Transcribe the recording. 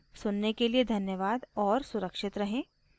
सुनने के लिए धन्यवाद और सुरक्षित रहें